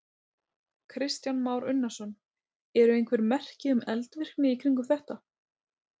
Kristján Már Unnarsson: Eru einhver merki um eldvirkni í kringum þetta?